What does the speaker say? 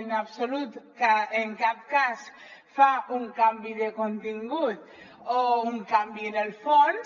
en absolut en cap cas fa un canvi de contingut o un canvi en el fons